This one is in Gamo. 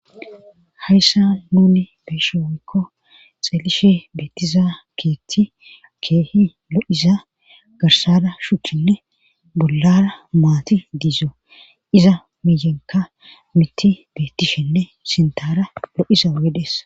hayssa nuni beeshe woekko xeelishe beettiza keetti keehi lo7iza garsara shuchchinne bollara maati diizo iza miyenka miti beettishinne sintara lo7iza wedees